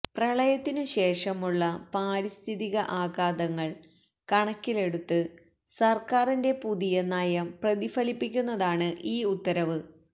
പ്രളയത്തിനു ശേഷമുള്ള പാരിസ്ഥിതിക ആഘാതങ്ങള് കണക്കിലെടുത്ത് സര്ക്കാരിന്റെ പുതിയ നയം പ്രതിഫലിപ്പിക്കുന്നതാണ് ഈ ഉത്തരവ്